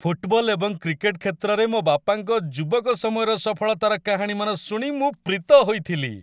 Football ଏବଂ cricket କ୍ଷେତ୍ରରେ ମୋ ବାପାଙ୍କ ଯୁବକ ସମୟର ସଫଳତାର କାହାଣୀମାନ ଶୁଣି ମୁଁ ପ୍ରୀତ ହେଉଥିଲି।